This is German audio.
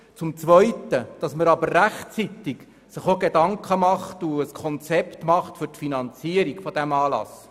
Zum zweiten sollte man sich rechtzeitig Gedanken zum Finanzierungskonzept für diesen Anlass machen.